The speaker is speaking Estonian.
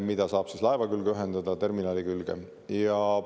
Seda saab laeva külge ühendada, terminali külge.